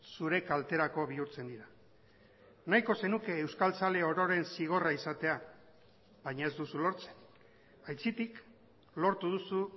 zure kalterako bihurtzen dira nahiko zenuke euskaltzale ororen zigorra izatea baina ez duzu lortzen aitzitik lortu duzu